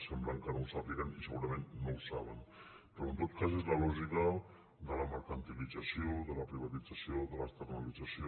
sembla que no ho sàpiguen i segurament no ho saben però en tot cas és la lògica de la mercantilització de la privatització de l’externalització